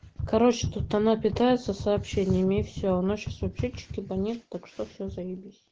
короче тут она питается сообщениями все равно сейчас вообще что-то не так что все зайебись